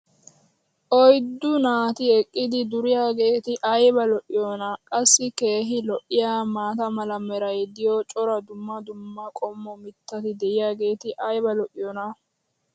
oyddu naati eqqidi duriyageeti ayba lo'iyoonaa. qassi keehi lo'iyaa maata mala meray diyo cora dumma dumma qommo mitati diyaageti ayba lo'iyoonaa?